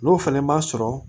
N'o fana ma sɔrɔ